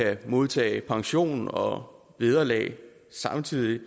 at modtage pension og vederlag samtidig